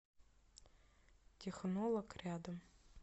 технолог рядом